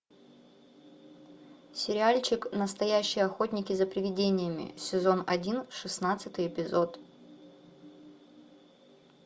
сериальчик настоящие охотники за привидениями сезон один шестнадцатый эпизод